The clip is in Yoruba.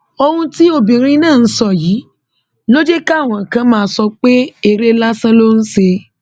ohun tí obìnrin náà sọ yìí ló jẹ káwọn kan máa sọ pé eré lásán ló ń ṣe